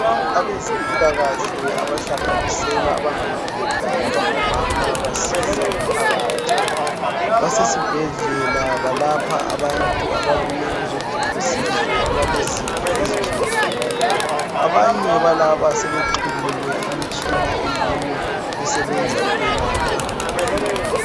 Abezempilakahle, abahlanganisela abangamadoda labangomama, basiza umphakathi. Basesibhedlela, balapha abantu ababuye ukuzadinga usizo. Abalezifo ezitshiyetshiyeneyo. Abanye balaba sebexhunyiwe imitshina eyiyo esebenza ukwelapha.